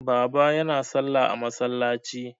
Baba yana salla a masallaci.